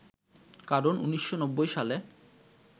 কারণ ১৯৯০ সালে